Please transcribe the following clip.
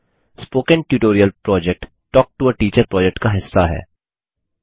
spoken tutorial project talk to a teacher project का हिस्सा है